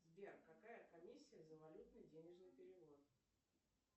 сбер какая комиссия за валютно денежный перевод